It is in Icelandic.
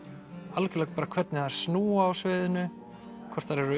algerlega hvernig þær snúa á sviðinu hvort þær eru